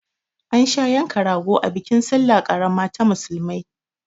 An sha yanka rago a bikin salla ƙarama ta musulmai